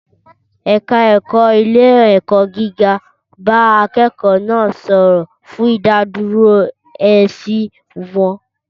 Ẹ̀ka òfin ilé-ẹ̀kọ́ gíga bá akẹ́kọ̀ọ́ náà sọ̀rọ̀, fún ìdádúró èsì wọn.